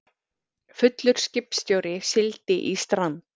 Fullur skipstjóri sigldi í strand